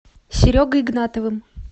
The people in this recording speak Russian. серегой игнатовым